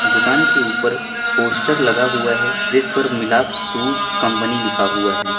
दुकान के ऊपर पोस्टर लगा हुआ है जिस पर मिलाप शूज कंपनी लिखा हुआ है।